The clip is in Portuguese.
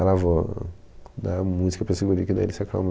Ela, vou dar música para esse guri que daí ele se acalma.